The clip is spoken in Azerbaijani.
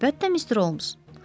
Əlbəttə, Mr. Holmes.